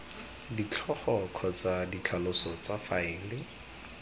ditlhogo kgotsa ditlhaloso tsa faele